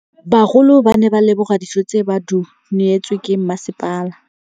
Bagolo ba ne ba leboga dijô tse ba do neêtswe ke masepala.